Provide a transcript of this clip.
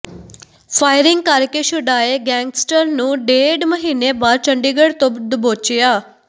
firing ਕਰਕੇ ਛੁਡਾਏ gangster ਨੂੰ ਡੇਢ ਮਹੀਨੇ ਬਾਅਦ ਚੰਡੀਗੜ੍ਹ ਤੋਂ ਦਬੋਚਿਆ